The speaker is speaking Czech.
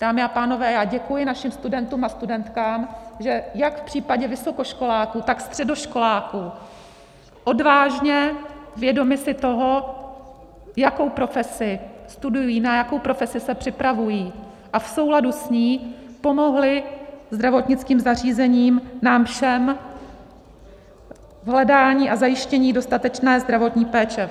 Dámy a pánové, já děkuji našim studentům a studentkám, že jak v případě vysokoškoláků, tak středoškoláků odvážně, vědomi si toho, jakou profesi studují, na jakou profesi se připravují, a v souladu s ní pomohli zdravotnickým zařízením, nám všem v hledání a zajištění dostatečné zdravotní péče.